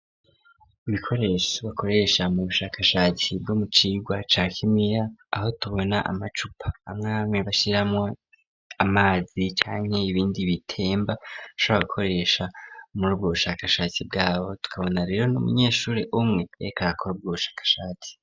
Ibikoresho bakoresha mu bushakashatsi bwo mucigwa ca kimiya, aho tubona amacupa amwe amwe bashiramwo amazi canke ibindi bitemba, bashobora gukoresha muri ubwo ubushakashatsi bwabo. Tukabona rero n'umunyeshuri umwe yariko arakora ubwo bushakashatsi.